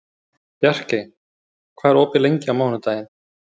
Bjarkey, hvað er opið lengi á mánudaginn?